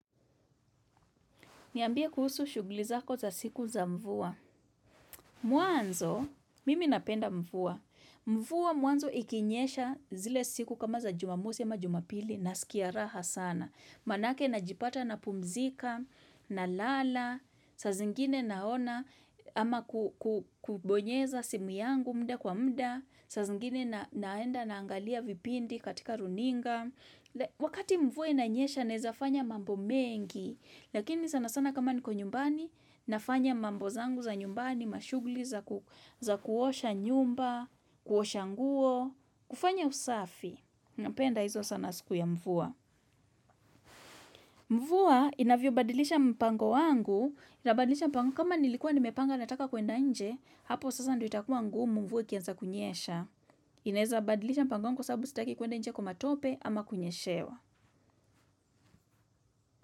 Niambia kuhusu shuglizako za siku za mvua. Mwanzo, mimi napenda mvua. Mvua mwanzo ikinyesha zile siku kama za jumamosi ama jumapili na sikiaraha sana. Manake najipata na pumzika, na lala, sa zingine naona ama kubonyeza simu yangu muda kwa muda, sa zingine naenda naangalia vipindi katika runinga. Wakati mvua inanyesha nezafanya mambo mengi Lakini sana sana kama niko nyumbani Nafanya mambo zangu za nyumbani Mashugli za kuosha nyumba kuosha nguo kufanya usafi Napenda hizo sana siku ya mvuwa mvua inavyobadilisha mpango wangu kama nilikua nimepanga nataka kuenda nje Hapo sasa ndo itakuwa ngu mvua kianza kunyesha inaeza badilisha mpango wangu sababu sitaki kuenda nje kumatope ama kunyeshewa.